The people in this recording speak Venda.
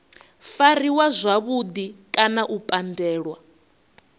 fariwa zwavhudi kana u pandelwa